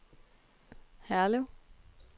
Herlev